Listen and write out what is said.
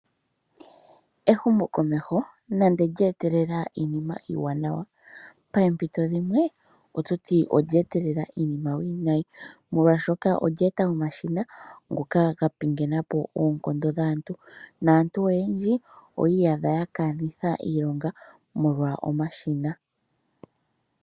Ehumo komeho nando lya etelela iinima iiwanawa, poompito dhimwe oto yi olya etelea iinim iiwinayi, oshoka olya etelela omashina ngoka ga pingenapo oonkondo dhaantu, naantu oyendji oya iiyadha ya kanitha iilonga molwa omashina.